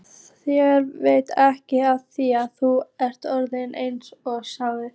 Þér veitir ekki af því, þú ert orðinn einsog strá.